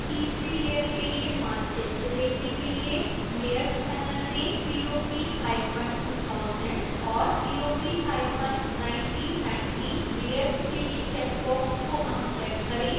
तीसरी लेयर के लिए मानचित्र देखने के लिए layers panel में पॉप2000 और पॉप1990 layers के लिए चेक बॉक्स को अनचेक करें